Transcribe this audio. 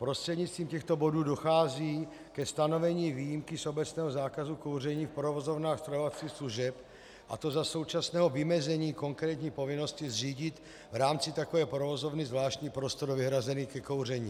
Prostřednictvím těchto bodů dochází ke stanovení výjimky z obecného zákazu kouření v provozovnách stravovacích služeb, a to za současného vymezení konkrétní povinnosti zřídit v rámci takové provozovny zvláštní prostor vyhrazený ke kouření.